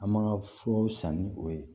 An ma furaw san ni o ye